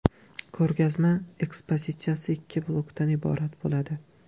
Ko‘rgazma ekspozitsiyasi ikki blokdan iborat bo‘ladi.